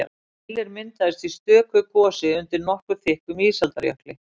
Keilir myndaðist í stöku gosi undir nokkuð þykkum ísaldarjökli.